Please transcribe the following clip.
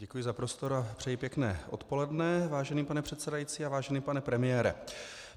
Děkuji za prostor a přeji pěkné odpoledne, vážený pane předsedající a vážený pane premiére.